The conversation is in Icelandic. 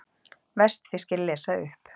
Vestfirskir lesa upp